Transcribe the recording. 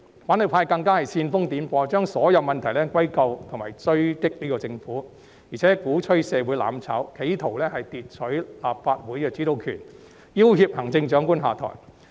反對派更加煽風點火，將所有問題歸咎政府、追擊政府，並且鼓吹社會"攬炒"，企圖奪取立法會的主導權，要脅行政長官下台。